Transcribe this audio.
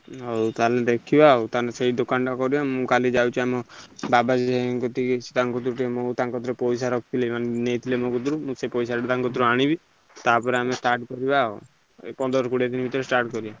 ଆଉ ତାହେନେ ଦେଖିବା ଆଉ ତାହେନେ ସେଇ ଦୋକାନ ଟା କରିଆ ମୁଁ କାଲି ଯାଉଛି ବାବାଜୀ ଭାଇ ଙ୍କ କତିକି ତାଙ୍କୁ ଟିକେ ମୁଁ ଟଙ୍କା କତିରେ ମୁଁ ପଇସା ରଖିଥିଲି ମାନେ ନେଇଥିଲେ ମୋ କତିରୁ ମୁଁ ସେଇଟା ଟଙ୍କା ଠାରୁ ଆଣିବି ତାପରେ ଆମେ start କରିବ ଆଉ ଏଇ ପନ୍ଦର କୋଡିଏ ଦିନ ଭିତରେ start କରିଆ।